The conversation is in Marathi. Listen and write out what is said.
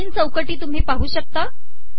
तीन चौकटी तुमही पाहू शकता